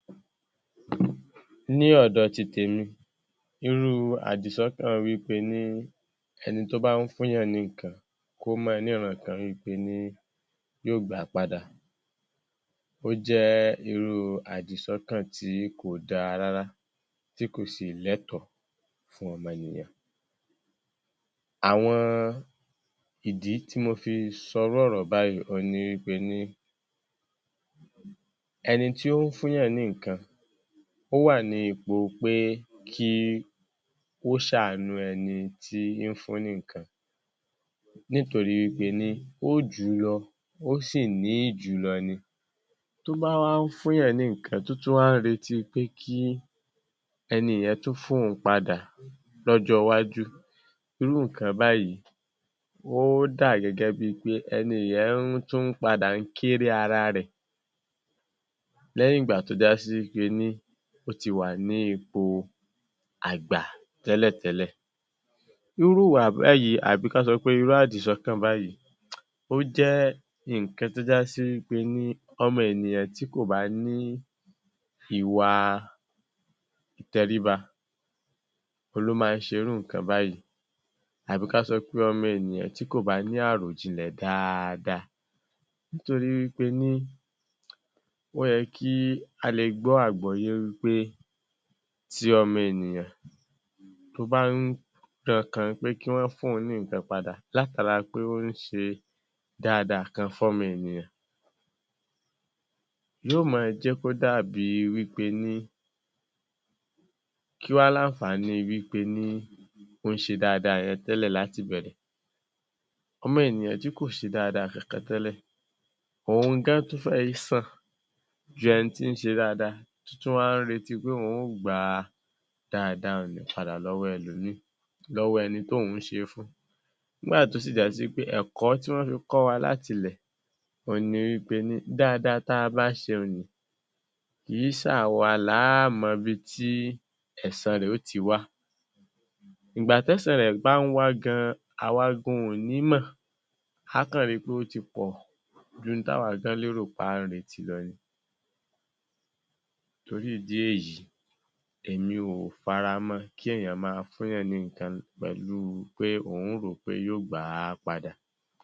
Ní ọ̀dọ̀ ti tèmi, irú àdìsọ́kàn wí pe ní ẹni tó bá ń fúnyàn ní nǹkan kó máa níran kan wí pe ní yó gbà á padà, ó jẹ́ irú àdìsọ́kàn tí kò dára rárá, tí kò sì lẹ́tọ̀ọ́ fún ọmọnìyàn. Àwọn ìdí tí mo fi sọrú ọ̀rọ̀ báyìí òun ni wí pe ní, ẹni tí ó ń fúnyàn ní nǹkan, ó wà ní ipò pé kí ó ṣàánú ẹni tí ń fún ní nǹkan nítorí wí pe ní ó jù ú lọ, ó sì ní jù ú lọ ni. Tó bá wá ń fúyàn ní nǹkan, tó tún wá ń retí pé kí ẹni yẹn tún fóun padà lọ́jọ́ọwájú, irú nǹkan báyìí, ó dà gẹ́gẹ́ bíi pé ẹni yẹn ń tún padà kéré ara rẹ̀ lẹ́yìn ìgbà tó já sí wí pe ní ó ti wà ní ipò àgbà tẹ́lẹ̀tẹ́lẹ̀. Irú ìwà báyìí, àbí kán sọ pé irú àdìsọ́kàn báyìí, ó jẹ́ nǹkan tó já sí wí pe ní ọmọ ènìyàn tí kò bá ní ìwà ìtẹríba, òun ló máa ń ṣe irú nǹkan báyìí. Abí ká sọ pé ọmọ ènìyàn tí kò bá ní àròjinlẹ̀ dáadáa, nítorí wí pe ní ó yẹ kí a le gbọ́ àgbọ́yé wí pé tí ọmọ ènìyàn, tó bá ń tankàn pé kí wọ́n fún òun ní nǹkan padà látara pé ó ń ṣe dáadáa kan fọmọ èniyàn, yó máa jẹ́ kó dàbí wí pe ní kí wá làǹfààní wí pe ní ó ń ṣe dáadáa yẹn tẹ́lẹ̀ látìbẹ̀rẹ̀? Ọmọ ènìyàn tí kò ṣe dáadáa kankan tẹ́lẹ̀ òun gan tún fẹ́ẹ̀ sàn jù ẹni tí ń ṣe dáadáa tí tún wá ń retí pé òun ó gba dáadáa òun padà lọ́wọ́ ẹlòmíì, lọ́wọ́ ẹni tóun ṣe é fún. Nígbà tó sì já sí wí pé ẹ̀kọ́ tí wọ́n fi kọ́ wa láti ilẹ̀ òun ni wí pe ní dáadáa tá a bá ṣe un nì, kì í ṣàwa lá mọ ibi tí ẹ̀san rẹ̀ ó ti wá. Ìgbà tẹ́san rẹ̀ bá ń wá gan, àwa gan ò ní mọ̀, a á kàn ri pé ó ti pọ̀ jù n táwa gan lérò pé à ń retí lọ ni. Torí ìdí èyí, èmi ò faramọ́ ọn kéèyàn máa fúnyàn ní nǹkan pẹ̀lú pé òun rò ó pé yó gbà á padà.